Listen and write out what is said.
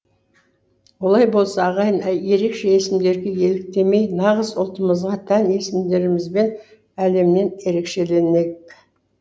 олай болса ағайын ерекше есімдерге еліктемей нағыз ұлтымызға тән есімдерімізбен әлемнен ерекшеленейік